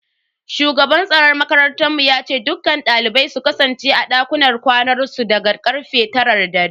Shugaban tsaron makarantar mu yace duk dalibai su kasance a dakunan kwanansu daga karfe taran dare.